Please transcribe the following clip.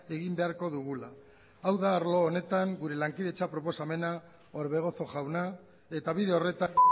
egin beharko dugula hau da arlo honetan gure lankidetza proposamena orbegozo jauna eta bide horretan